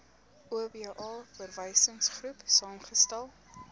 oba verwysingsgroep saamgestel